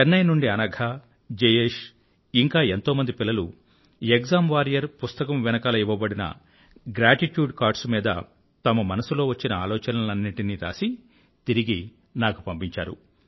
చెన్నై నుండి అనఘ జయేష్ ఇంకా ఎంతోమంది పిల్లలు ఎక్సామ్ వారియర్ పుస్తకం వెనకాల ఇవ్వబడిన గ్రాటిట్యూడ్ కార్డ్స్ మీద తమ మనసులో వచ్చిన ఆలోచనలన్నింటినీ రాసి తిరిగి నాకు పంపించారు